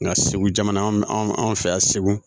Nka segu jamana an fɛ yan segu